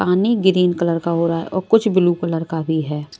पानी green colour का हो रहा है और कुछ ब्लू कलर का भी है।